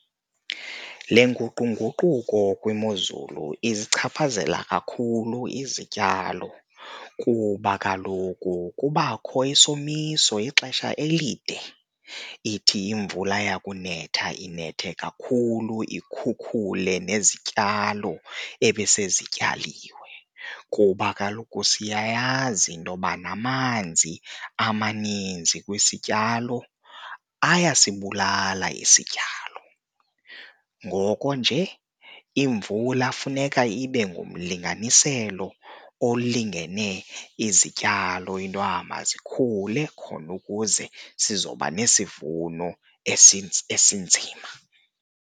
Le nguqunguquko kwimozulu izichaphazela kakhulu izityalo kuba kaloku kubakho isomiso ixesha elide, ithi imvula yakunetha inethe kakhulu ikhukhule nezityalo ebesezityaliwe. Kuba kaloku siyayazi intoba namanzi amaninzi kwisityalo ayasibulala isityalo, ngoko nje imvula funeka ibe ngumlinganiselo okulingene izityalo into yoba mazikhule khona ukuze sizoba nesivuno esinzima.